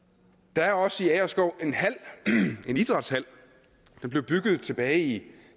der er også i agerskov en idrætshal der blev bygget tilbage i